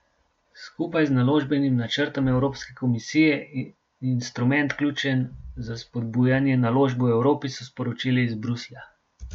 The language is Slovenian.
Skupaj z naložbenim načrtom Evropske komisije in instrument ključen za spodbujanje naložb v Evropi, so sporočili iz Bruslja.